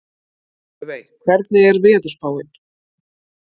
Laufey, hvernig er veðurspáin?